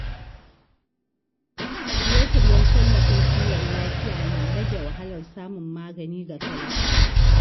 Shirye-shiryen tallafin kiwon lafiya na rage wahalar samun magani ga talakawa.